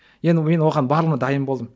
енді мен оған барлығына дайын болдым